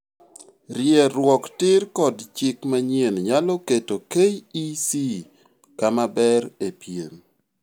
.Rieruok tiir kod chik manyien nyalo keto KEC kamaber e piem